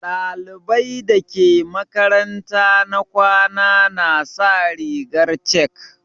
Ɗalibai dake makaranta na kwana na sa rigar chek.